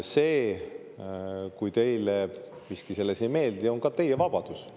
See, kui teile miski selles ei meeldi, on ka teie vabadus.